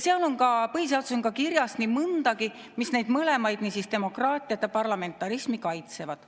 Ja põhiseaduses on kirjas nii mõndagi, mis neid mõlemaid, demokraatiat ja parlamentarismi, kaitsevad.